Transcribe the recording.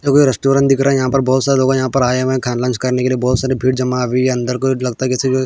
यह कोई रेस्टोरेंट दिख रहा है यहाँ पर बोहोत सारे लोगा यहाँ पर आये हुए है खा लंच करने के लिए बोहोत सारी भीड़ जमा हुयी है अंदर कोई लगता किसी को --